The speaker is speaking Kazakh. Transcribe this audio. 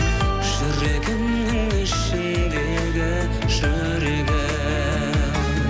жүрегімнің ішіндегі жүрегім